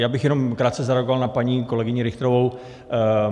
Já bych jenom krátce zareagoval na paní kolegyni Richterovou.